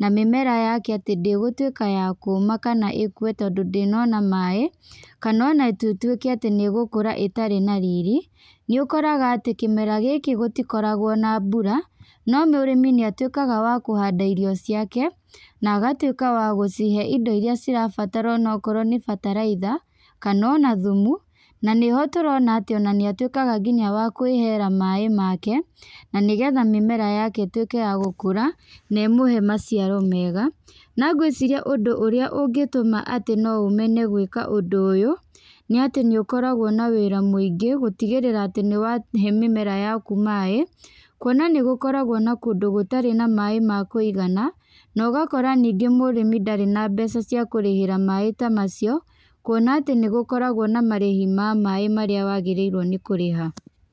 na mĩmera yake atĩ ndĩgũtuĩka ya kũũma kana ĩkue tondũ ndĩnona maaĩ. Kana ona tũtuĩke atĩ nĩ ĩgũkũra ĩtarĩ na riri. Nĩ ũkoraga atĩ kĩmera gĩkĩ gũtikoragwo na mbura, no mũrĩmi nĩ atuĩkaga wa kũhanda irio ciake, na agatuĩka wa gũcihe indo irĩa cirabatara onokorwo nĩ bataraitha, kana ona thumu. Na nĩho tũrona atĩ ona nĩ atuĩkaga nginya wa kwĩheera maaĩ make, na nĩgetha mĩmera yake ĩtuĩke ya gũkũra, na ĩmũhe maciaro mega. Na ngwĩciria ũndũ ũrĩa ũngĩtũma atĩ no ũmene gwĩka ũndũ ũyũ, nĩ atĩ nĩ ũkoragwo na wĩra mũingĩ, gũtigĩrĩra atĩ nĩ wahe mĩmera yaku maaĩ. Kuona nĩ gũkoragwo na kũndũ gũtarĩ na maaĩ ma kũigana, na ũgakora ningĩ mũrĩmi ndarĩ na mbeca cia kũrĩhĩra maaĩ ta macio, kuona atĩ nĩ gũkoragwo na marĩhi ma maaĩ marĩa wagĩrĩirwo nĩ kũrĩha.